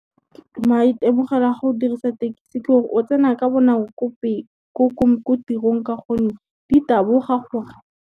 Maitemogelo a go dirisa tekisi ke gore o tsena ka bonako ko tirong ka gonne di taboga gore.